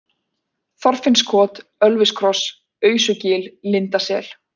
Þorfinnskot, Ölviskross, Ausugil, Lindasel